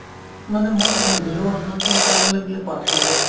মানে মই শুনিছিলো অৰুণাচল পাৰ হ'লে বোলে pass লাগে